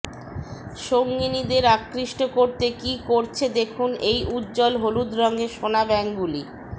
সঙ্গিনীদের আকৃষ্ট করতে কী করছে দেখুন এই উজ্জ্বল হলুদ রঙের সোনাব্যাঙগুলি